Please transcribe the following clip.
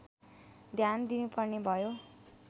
ध्यान दिनुपर्ने भयो